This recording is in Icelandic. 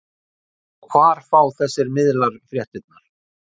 Og hvar fá þessir miðlar fréttirnar?